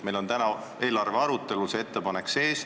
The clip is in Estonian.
Meil on täna eelarve arutelus see ettepanek sees.